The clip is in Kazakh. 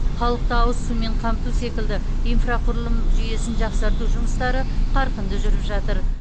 халықты ауыз сумен қамту секілді инфрақұрылым жүйесін жақсарту жұмыстары қарқынды жүріп жатыр